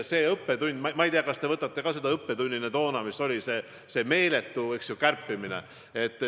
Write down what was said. Ma ei tea, kas te võtate seda õppetunnina, mis tookord oli: see meeletu kärpimine.